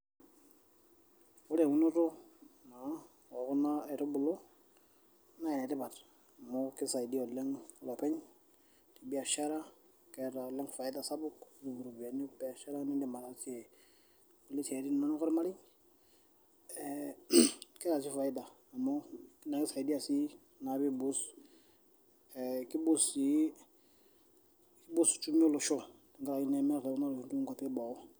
Ore eunoto ekuna nakitubulu naa enetipat amu keisaidia oleng olepeny tebiashara peitum iropiyiani niidim araasie ataasie esiai ino ormarei ee na keisaidia sii pei boost sii peiboost uchumi olosho tonkwapi eboo.